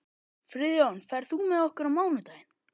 Friðjón, ferð þú með okkur á mánudaginn?